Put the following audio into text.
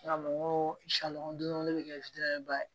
Mɔgɔ salɔn don ne be kɛ